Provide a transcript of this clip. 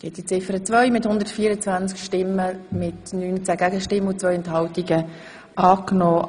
Sie haben Ziffer 2 als Postulat angenommen.